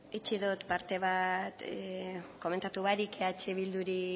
utzi dot parte bat komentatu barik eh bilduri